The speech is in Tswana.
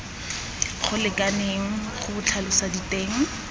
go lekaneng go tlhalosa diteng